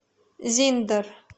зиндер